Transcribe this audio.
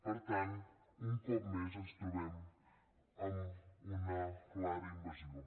per tant un cop més ens trobem amb una clara invasió